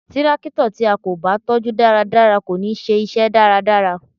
Tírákítọ̀ tí a kò bá tọ́ jú dáradára kò ní ṣe iṣẹ́ dáradára